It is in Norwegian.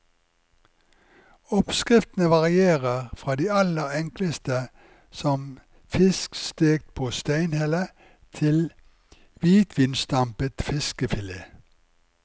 Oppskriftene varierer fra de aller enkleste som fisk stekt på steinhelle, til hvitvinsdampet fiskefilet.